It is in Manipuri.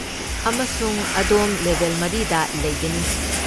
ꯑꯃꯁꯨꯡ ꯑꯗꯣꯝ ꯂꯦꯚꯦꯜ ꯃꯔꯤꯗ ꯂꯩꯒꯅꯤ꯫